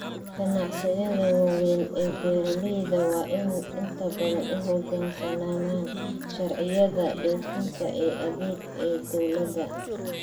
Ganacsiyada waaweyn ee beeralayda waa in ay inta badan u hoggaansamaan sharciyada dhoofinta ee adag ee dawladda.